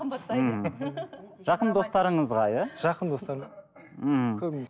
жақын достарыңызға иә жақын достарыма ммм көбіне